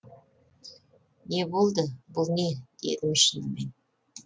не болды бұл не дедім шынымен